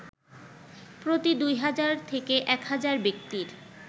প্রতি ২০০০ থেকে ১০০০ ব্যক্তির